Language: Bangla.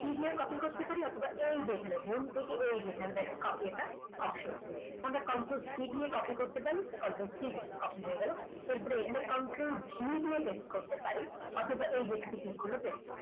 c দিয়ে copy করতে পারি অথবা এখানে home থেকে এই যে এইখানে দেখুন copy লেখা option আছে। আমরা control c দিয়ে copy করতে পারি control টিপে copy হয়ে গেল তারপর এখানে control v দিয়ে pest করতে পারি। অথবা এই যেখানে খুলে pest